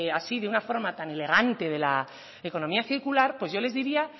así de una forma tan elegante de la economía circular pues yo les diría